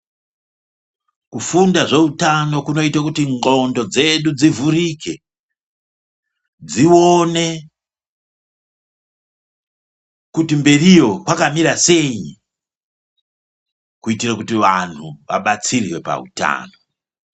Kufunda zvehutano kunoita kuti ngonxo dzedu dzivhurike dzione kuti mberiyo kwakamira sei kuitira kuti vantu vabatsirwe pahutano.